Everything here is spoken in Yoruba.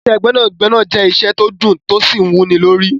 Iṣẹ́ gbẹ́nàgbẹnà jẹ́ iṣẹ́ tó dùn tó sì wúnilórí.